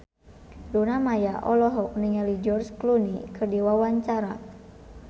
Luna Maya olohok ningali George Clooney keur diwawancara